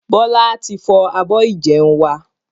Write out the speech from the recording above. Bọlá tí fọ́ abọ́ ìjẹun wá